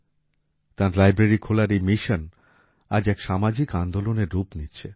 তাঁর লাইব্রেরি খোলার এই মিশন আজ এক সামাজিক আন্দোলনের রূপ নিচ্ছে